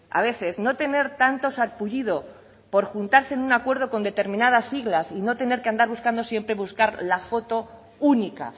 a veces no tener tanto sarpullido por juntarse en un acuerdo con determinadas siglas y no tener que andar buscando siempre buscar la foto única